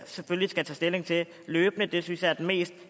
selvfølgelig skal tage stilling til løbende det synes jeg er den mest